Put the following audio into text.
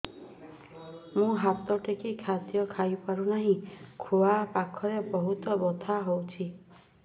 ମୁ ହାତ ଟେକି ଖାଦ୍ୟ ଖାଇପାରୁନାହିଁ ଖୁଆ ପାଖରେ ବହୁତ ବଥା ହଉଚି